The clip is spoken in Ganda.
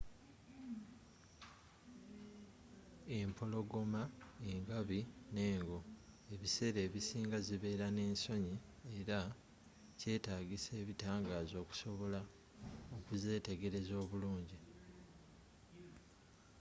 empologoma engabi n'engo ebiseera ebisinga zibeera n'ensonyi era kyetaagisa ebitangaaza okusobola okuzeetegereza obulungi